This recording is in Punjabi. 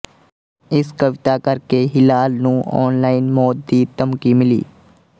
ਇਸ ਕਵਿਤਾ ਕਰਕੇ ਹਿਲਾਲ ਨੂੰ ਆਨਲਾਈਨ ਮੌਤ ਦੀ ਧਮਕੀ ਮਿਲੀ